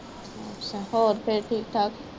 ਹੋਰ ਫਿਰ ਠੀਕ ਠਾਕ